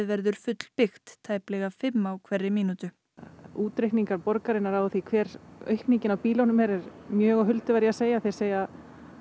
verður fullbyggt tæplega fimm á hverri mínútu útreikningar borgarinnar á því hver aukningin á bílunum er eru mjög á huldu verð ég að segja þeir segja